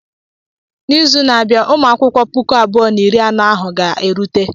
N'izu na-abịa, Ụmụakwụkwọ puku abụọ na iri anọ ahụ ga-erute.